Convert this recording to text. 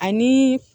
Ani